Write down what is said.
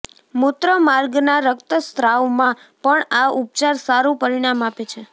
મૂત્રમાર્ગના રક્તસાવમાં પણ આ ઉપચાર સારું પરિણામ આપે છે